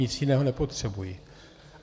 Nic jiného nepotřebuji.